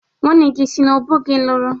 Nwanne gi si n'ebo gi luru?